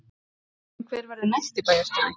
En hver verður næsti bæjarstjóri?